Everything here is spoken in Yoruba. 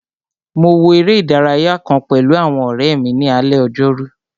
Mo wo eré ìdárayá kàn pẹ̀lú àwọn ọ̀rẹ́ mi ní alé ojórú